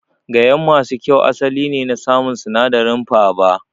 Gayen masu kyau asali ne na samu sinadarin faba